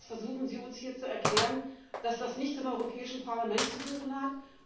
Da versuchen Sie uns hier zu erklären, dass das nichts im Europäischen Parlament zu suchen hat?